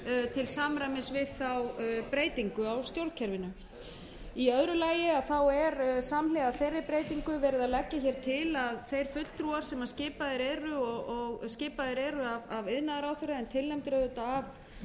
til samræmis við þá breytingu á stjórnkerfinu í öðru lagi er samhliða þeirri breytingu verið að leggja hér til að þeir fulltrúar sem skipaðir eru af iðnaðarráðherra en tilnefndir auðvitað